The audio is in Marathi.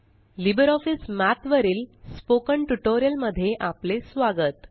लिबर ऑफीस मठ वरील स्पोकन ट्यूटोरियल मध्ये आपले स्वागत